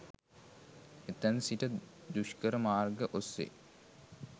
එතැන් සිට දුෂ්කර මාර්ග ඔස්සේ